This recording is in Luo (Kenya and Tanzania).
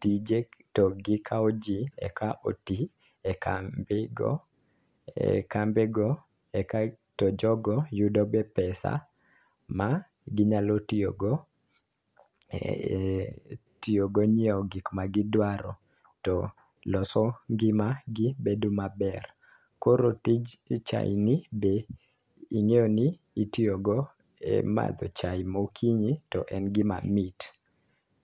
tije to gi kwao jii eka otii ekambi go e kambe go e ka to jogo yudo be pesa ma ginyalo tiyo go e e tiyo go nyiewo gik ma gidwaro to loso ngimagi bedo maber .Koro tij chai ni be ing'eyo ni itiyo go e madho chai mokinyi to en gima mit.